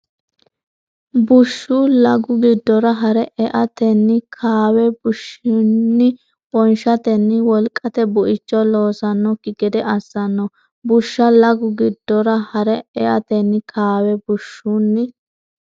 Bushsha lagu giddora hare eatenni kaawe bushshunni wonshatenni wolqate buicho loossannokki gede assanno Bushsha lagu giddora hare eatenni kaawe bushshunni.